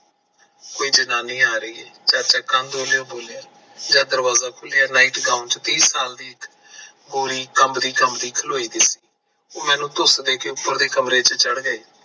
ਕੋਈ ਜਨਾਨੀ ਆ ਰਹੀ ਐ ਚਾਚਾ ਕੰਬਦਾ ਹੋਇਆ ਬੋਲਿਆ ਜਦ ਦਰਵਾਜਾ ਖੋਲਿਆ NIGHTGOWN ਚ ਤੀਹ ਸਾਲ ਦੀ ਗੋਰੀ ਕੰਬਦੀ ਕੰਬਦੀ ਖਲੋਈ ਦੀ ਸੀ। ਓ ਮੈਨੂੰ ਧੁਸ ਦੇ ਕੇ ਉਪਰ ਦੇ ਕਮਰੇ ਚ ਚੜ ਗਏ।